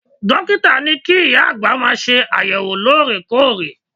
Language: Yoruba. Dókítà ní kí ìyá àgbà máa ṣe àyẹ̀wò loore-koore.